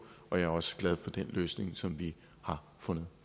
og jeg også glad for den løsning som vi har fundet